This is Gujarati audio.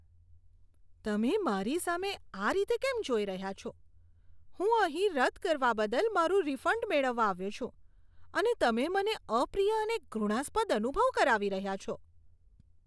તમે મારી સામે આ રીતે કેમ જોઈ રહ્યા છો? હું અહીં રદ કરવા બદલ મારું રિફંડ મેળવવા આવ્યો છું અને તમે મને અપ્રિય અને ઘૃણાસ્પદ અનુભવ કરાવી રહ્યા છો.